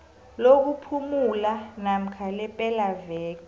lokuphumula namkha lepelaveke